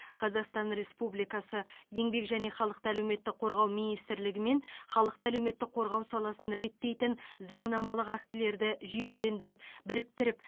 қазақстан республикасы еңбек және халықты әлеуметтік қорғау минстрлігімен халықты әлеуметтік қорғау саласын реттейтін заңнамалық актілерді жүйелендіріп біріктіріп